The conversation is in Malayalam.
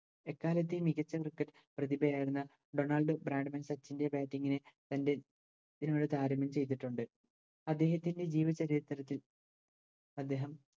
എക്കാലത്തെയും മികച്ച Cricket പ്രതിഭയായിരുന്ന ഡൊണാൾഡ് ബ്രാഡ്‌മാൻ സച്ചിൻറെ Batting നെ തൻറെ താരതമ്യം ചെയ്തിട്ടുണ്ട് അദ്ദേഹത്തിൻറെ ജീവചരിത്രത്തിൽ അദ്ദേഹം